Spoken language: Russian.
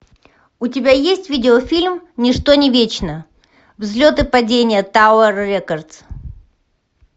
у тебя есть видеофильм ничто не вечно взлет и падение тауэр рекордс